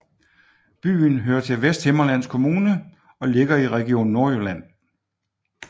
Byen hører til Vesthimmerlands Kommune og ligger i Region Nordjylland